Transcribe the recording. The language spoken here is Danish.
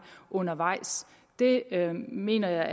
undervejs det mener jeg